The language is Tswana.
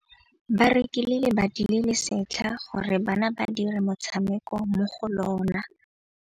Ba rekile lebati le le setlha gore bana ba dire motshameko mo go lona.